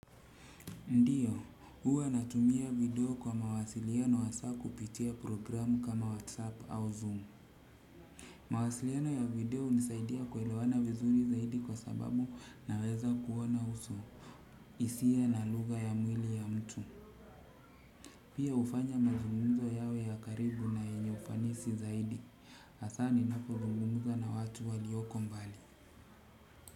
Ndiyo, huwa natumia video kwa mawasiliano hasa kupitia programu kama whatsapp au zoom. Mawasiliano ya video hunisaidia kuelewana vizuri zaidi kwa sababu naweza kuona uso. Hisia na lugha ya mwili ya mtu. Pia hufanya mazumuzo yawe ya karibu na yenye ufanisi zaidi. Hasa ninapo zungumza na watu walioko mbali.